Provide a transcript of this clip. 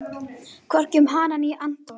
Hvorki um hana né Anton.